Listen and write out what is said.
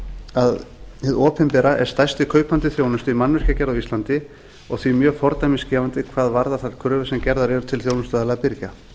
að hið opinbera er stærsti kaupandi þjónustu í mannvirkjagerð á íslandi og því mjög fordæmisgefandi hvað varðar þær kröfur sem eru gerðar til þjónustuaðila og eða birgja